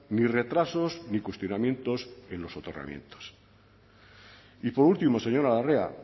ni retrasos ni cuestionamientos en los soterramientos y por último señora larrea